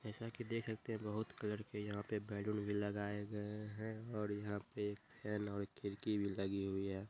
जैसा की देख सकते है बोहोत कलर के यहाँ पे बैलून लगाए गए है और यहाँ पै एक फैन और खड़िकी भी लगी हुई हैं।